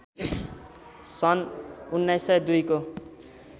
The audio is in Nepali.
सन् १९०२ को